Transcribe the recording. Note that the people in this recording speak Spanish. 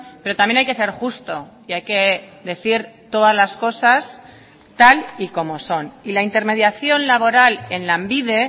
pero también hay que ser justo y hay que decir todas las cosas tal y como son y la intermediación laboral en lanbide